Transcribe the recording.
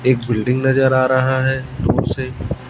एक बिल्डिंग नजर आ रहा है दुर से।